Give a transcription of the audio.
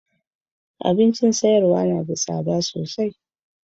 Abincin sayarwa na da tsada sosai.